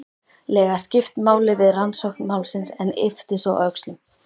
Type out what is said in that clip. lega skipt máli við rannsókn málsins en yppti svo öxlum.